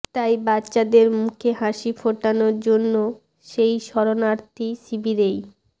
তাই বাচ্চাদের মুখে হাসি ফোটানোর জন্য সেই শরণার্থী শিবিরেই